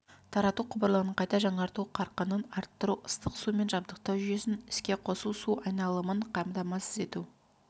тарату құбырларын қайта жаңарту қарқынын арттыру ыстық сумен жабдықтау жүйесін іске қосу су айналымын қамтамасыз ету